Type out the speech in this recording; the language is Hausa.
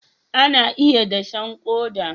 ana iya dashen koda